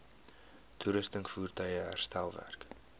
toerusting voertuie herstelwerk